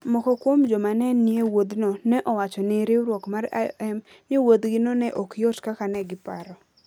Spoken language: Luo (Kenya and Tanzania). Moko kuom joma ne nie wuodhno ne owacho ne riwruok mar IOM ni wuodhgino ne ok yot kaka ne giparo: